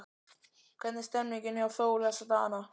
Hvernig er stemningin hjá Þór þessa dagana?